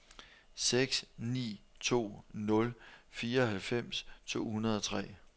seks ni to nul fireoghalvfems to hundrede og tre